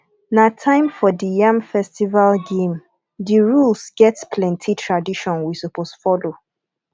na time for di yam festival game di rules get plenty tradition we suppose folo